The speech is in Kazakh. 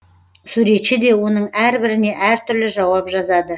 суретші де оның әрбіріне әртүрлі жауап жазады